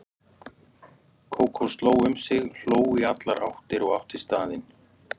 Kókó sló um sig, hló í allar áttir og átti staðinn.